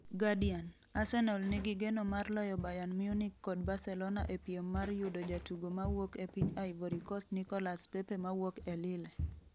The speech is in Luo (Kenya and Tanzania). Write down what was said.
(Guardian) Arsenal nigi geno mar loyo Bayern Munich kod Barcelona e piem mar yudo jatugo mawuok e piny Ivory Coast Nicolas Pepe mawuok e Lille.